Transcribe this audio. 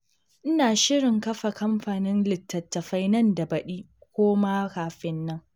Ina shirin kafa kamfanin litattafai nan da baɗi ko ma kafin nan.